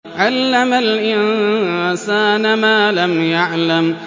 عَلَّمَ الْإِنسَانَ مَا لَمْ يَعْلَمْ